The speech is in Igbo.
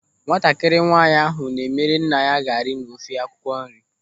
Nwatakịrị nwaanyị ahụ na-emere nna ya gari na ofe akwụkwọ nri.